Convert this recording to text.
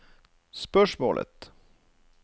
spørsmålet